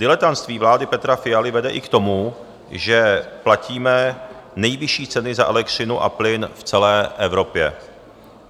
Diletantství vlády Petra Fialy vede i k tomu, že platíme nejvyšší ceny za elektřinu a plyn v celé Evropě.